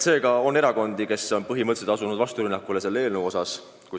See on erakond, kes on põhimõtteliselt asunud rünnakule selle eelnõu vastu.